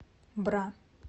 бра